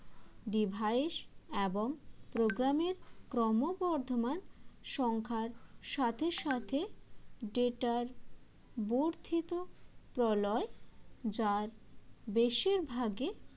device এবং program এর ক্রমবর্ধমান সংখ্যার সাথে সাথে data র বর্ধিত প্রলয় যার বেশিরভাগে